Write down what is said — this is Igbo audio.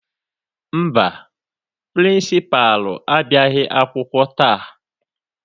Mba, Pịrịnsịpalụ abịaghị akwụkwọ taa.